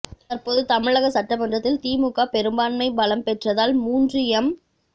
தற்போது தமிழக சட்டமன்றத்தில் திமுக பெரும்பான்மை பலம் பெற்றதால் மூன்று எம்